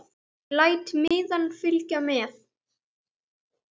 Ég læt miðann fylgja með.